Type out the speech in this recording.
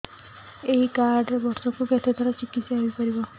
ଏଇ କାର୍ଡ ରେ ବର୍ଷକୁ କେତେ ଥର ଚିକିତ୍ସା ହେଇପାରିବ